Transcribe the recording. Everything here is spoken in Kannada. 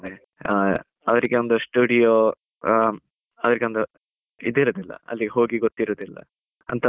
ಅವರಿಗೊಂದು ಒಂದು ಸ್ಟುಡಿಯೋ, ಅವರಿಗೊಂದು ಇದು ಇರುದಿಲ್ಲ, ಹೋಗಿ ಗೊತ್ತಿರುವುದಿಲ್ಲ ಅಂತವರಿಗೆ ಅದೇ.